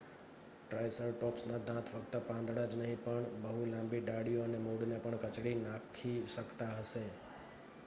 ટ્રાયસરટૉપ્સના દાંત ફક્ત પાંદડાં જ નહીં પણ બહુ લાંબી ડાળીઓ અને મૂળને પણ કચડી નાખી શકતા હશે